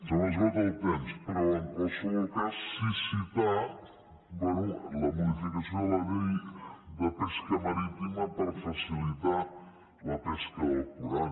se m’esgota el temps però en qualsevol cas sí que citar bé la modificació de la llei de pesca marítima per facilitar la pesca del corall